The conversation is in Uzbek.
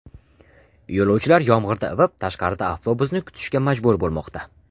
Yo‘lovchilar yomg‘irda ivib, tashqarida avtobusni kutishga majbur bo‘lmoqda.